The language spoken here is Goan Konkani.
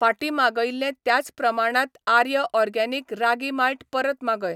फाटीं मागयिल्लें त्याच प्रमाणात आर्य ऑरगॅनिक रागी माल्ट परत मागय .